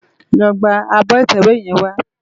Lò gbá ábò itèwé yèn wá